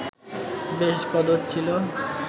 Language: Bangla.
বেশ কদর ছিল